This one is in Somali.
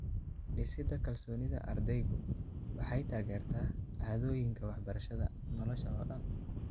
Dhisida kalsoonida ardaygu waxay taageertaa caadooyinka waxbarashada nolosha oo dhan.